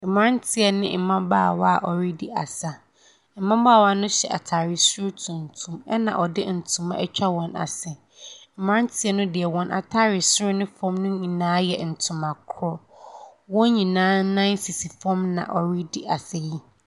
Mmirantieɛ ne mbabawa a wɔ redi asa. Mbabaawa no hyɛ ataade so tumtum ɛna ɔde ntoma ɛtwa wɔn asi. Mmarantie no de wɔn ataare soro ne fam nyinaa yɛ ntoma koro. Wɔn nyinaa nan sisi fom na wɔre di asa yi.